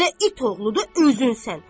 Belə it oğlu özün sənsən.